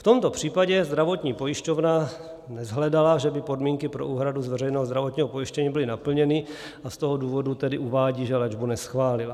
V tomto případě zdravotní pojišťovna neshledala, že by podmínky pro úhradu z veřejného zdravotního pojištění byly naplněny, a z toho důvodu tedy uvádí, že léčbu neschválila.